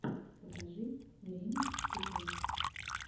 покажи время и стекло